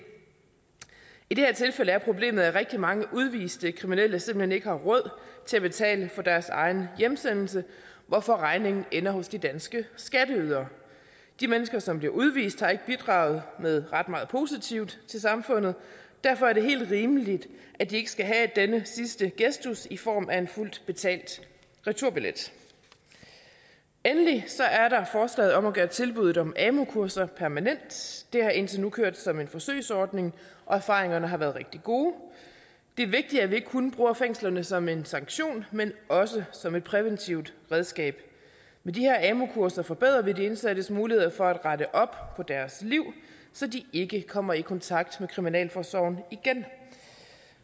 i det her tilfælde er problemet at rigtig mange udviste kriminelle simpelt hen ikke har råd til at betale for deres egen hjemsendelse hvorfor regningen ender hos de danske skatteydere de mennesker som bliver udvist har ikke bidraget med ret meget positivt til samfundet og derfor er det helt rimeligt at de ikke skal have denne sidste gestus i form af en fuldt betalt returbillet endelig er der forslaget om at gøre tilbuddet om amu kurser permanent det har indtil nu kørt som en forsøgsordning og erfaringerne har været rigtig gode det er vigtigt at vi ikke kun bruger fængslerne som en sanktion men også som et præventiv redskab med de her amu kurser forbedrer vi de indsattes muligheder for at rette op på deres liv så de ikke kommer i kontakt med kriminalforsorgen igen